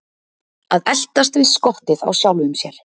Að eltast við skottið á sjálfum sér